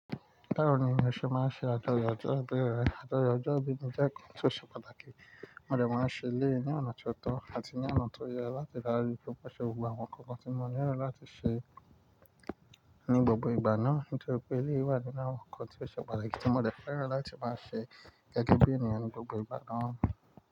Báwo ni mo ṣe máa ṣe àjọyọ̀ ọjọ́ ìbí rẹ? Àjọyọ̀ ọjọ́ ìbí mi jẹ́ ohun tí ó ṣe pàtàkì, mo dè máa ṣe eleyií ni ọ̀nà tó tọ́ àti ní ọ̀nà tó yẹ láti ri daju pe mọ ṣe gbogbo àwọn ǹkan kan tí mo nílò láti ṣe ní gbogbo ìgbà náà. Nítori pé eléyii wà nínú àwọn ǹkan tí ó ṣe pàtàkì tí mo le fẹ́ran láti máa ṣe gẹ́gẹ́ bí ènìyàn ní gbogbo ìgbà náà.